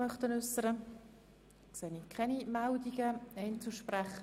Ich sehe keine Wortmeldungen, auch nichts seitens von Einzelsprechern.